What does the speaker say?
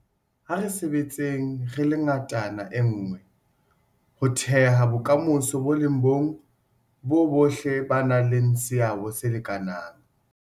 A re sebetseng re le ngatana nngwe ho theha bokamoso bo le bong boo bohle ba nang le seabo se lekanang.